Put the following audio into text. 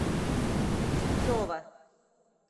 зубцова